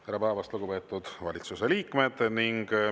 Tere päevast, lugupeetud valitsuse liikmed!